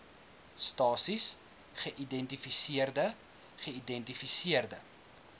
stasies geïdentifiseerde geïdentifiseerde